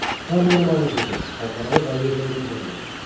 тағы бір маңызды жоба халықаралық әуежайдың құрылысы